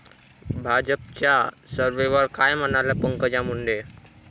भाजपच्या सर्व्हेवर काय म्हणाल्या पंकजा मुंडे!